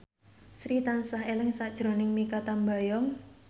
Sri tansah eling sakjroning Mikha Tambayong